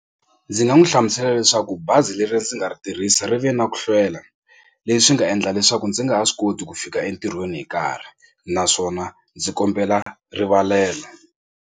Ndzi nga n'wi hlamusela leswaku bazi leri ndzi nga ri tirhisa ri ve na ku hlwela leswi nga endla leswaku ndzi nga ha swi koti ku fika entirhweni hi nkarhi naswona ndzi kombela rivalelo.